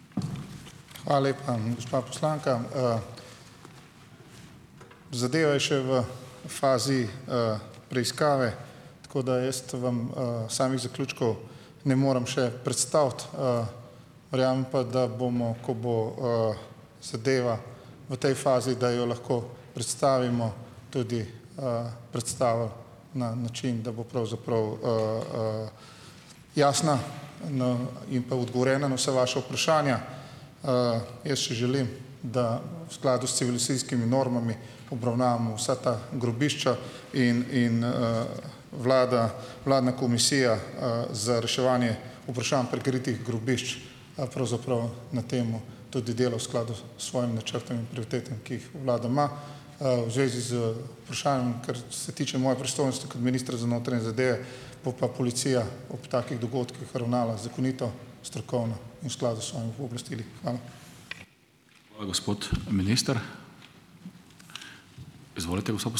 Hvala lepa, gospa poslanka, Zadeva je še v fazi preiskave, tako da jaz vam samih zaključkov ne morem še predstaviti verjamem pa, da bomo, ko bo zadeva v tej fazi, da jo lahko predstavimo, tudi predstavili na način, da bo pravzaprav jasna no in pa odgovorjena na vsa vaša vprašanja. Jaz, če želim, da v skladu s civilizacijskimi normami obravnavamo vsa ta grobišča, in in vlada, vladna komisija za reševanje vprašanj prikritih grobišč pravzaprav na tem tudi dela v skladu s svojim načrtom in prioritetami, ki jih vlada ima. V zvezi z vprašanjem, kar se tiče moje pristojnosti kot ministra za notranje zadeve, bo pa policija ob takih dogodkih ravnala zakonito, strokovno in v skladu s svojimi pooblastili. Hvala.